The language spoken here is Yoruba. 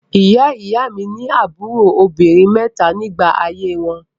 Ìyá-ìy mi ní àbúrò obìnrin mẹ́ta nígbà ayé wọn.